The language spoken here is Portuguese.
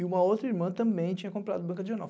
E uma outra irmã também tinha comprado banca de jornal.